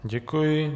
Děkuji.